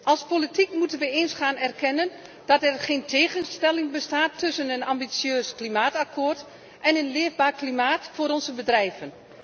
Als politici moeten we eens gaan erkennen dat er geen tegenstelling bestaat tussen een ambitieuze klimaatovereenkomst en een leefbaar klimaat voor onze bedrijven.